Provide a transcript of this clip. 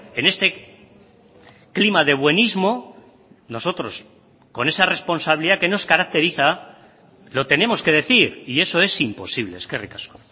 en este clima de buenismo nosotros con esa responsabilidad que nos caracteriza lo tenemos que decir y eso es imposible eskerrik asko